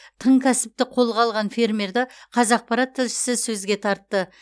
тың кәсіпті қолға алған фермерді қазақпарат тілшісі сөзге тартты